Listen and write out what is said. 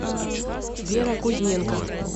вера кузьменко